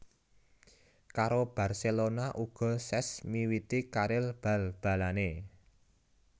Karo Barcelona uga Cesc miwiti karir bal balanè